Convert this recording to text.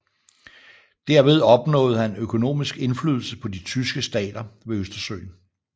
Derved opnåede han økonomisk indflydelse på de tyske stater ved Østersøen